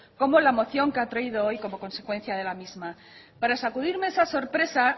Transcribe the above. como la moción que ha traído hoy como consecuencia de la misma para sacudirme esa sorpresa